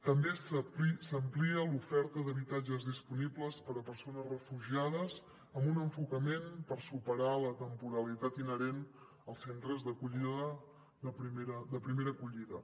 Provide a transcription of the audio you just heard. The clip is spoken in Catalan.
també s’amplia l’oferta d’habitatges disponibles per a persones refugiades amb un enfocament per superar la temporalitat inherent als centres de primera acollida